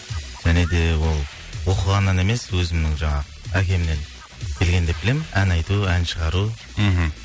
және де ол оқығаннан емес өзімнің жаңағы әкемнен келген деп білемін ән айту ән шығару мхм